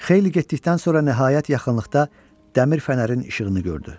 Xeyli getdikdən sonra nəhayət yaxınlıqda dəmir fənərin işığını gördü.